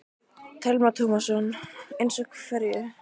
Telma Tómasson: Eins og hverju?